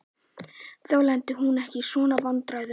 Þá lenti hún ekki í svona vandræðum.